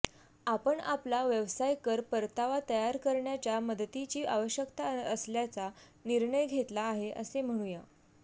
आपण आपला व्यवसाय कर परतावा तयार करण्याच्या मदतीची आवश्यकता असल्याचा निर्णय घेतला आहे असे म्हणूया